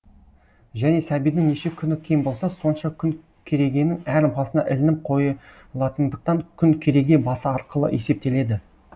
және сәбидің неше күні кем болса сонша күн керегенің әр басына ілініп қойылатындықтан күн кереге басы арқылы есептеледі